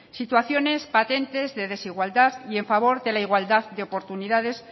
situaciones patentes de desigualdad y en favor de la igualdad de oportunidades